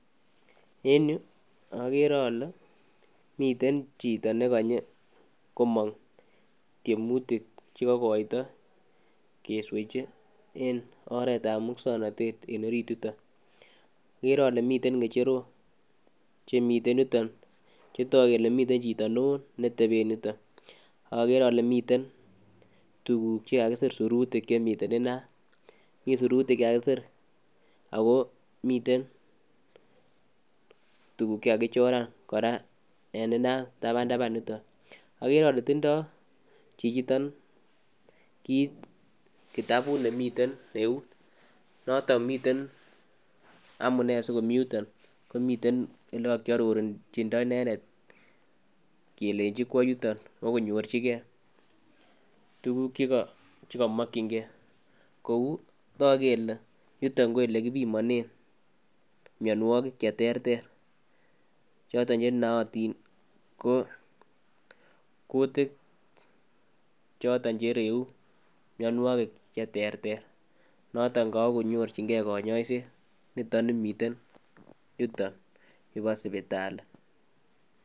En yuu okere ole miten chito nekonyo komong tyemutik chekokoito keswechi en oretab muswoknotet en orit yuton. Okere ole miten ngecherok chemiten yutok, chetok kole miten chito neo neteben yuton. Ak okere ole miten tukuk chekakisir en inat .Mii sirutik chekakisir ako miten tukuk chekakisir sirutik koraa en itan taban taban yutok okere ole tindoi chichiton kit kitabut nemiten eut noton miten amunee sikomii yuton komiten ole kokiororjindo inendet kelenji kwo yuton kwo konyorchigee tukuk chekimokin gee kou toku kele yutok ko ole kipimonen mionwokik cheterter choto chenootin ko kutik chito chereu mionwokik cheterter noton kowokonyorjin gee Konyoiset niton nimiten yuton yubo sipitali.